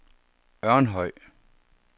Ørnhøj